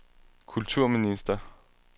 kulturminister